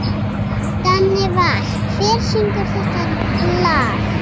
Danival, hver syngur þetta lag?